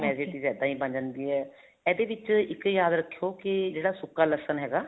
as a tis ਇੱਦਾਂ ਹੀ ਬਣ ਜਾਂਦੀ ਹੈ ਇਹਦੇ ਵਿੱਚ ਇੱਕ ਯਾਦ ਰੱਖਿਓ ਕੀ ਜਿਹੜਾ ਸੁੱਕਾ ਲੱਸਣ ਹੈਗਾ